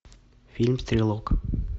фильм стрелок